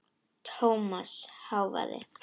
Thomas hváði.